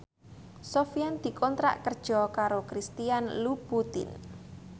Sofyan dikontrak kerja karo Christian Louboutin